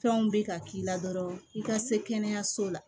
Fɛnw bɛ ka k'i la dɔrɔn i ka se kɛnɛyaso la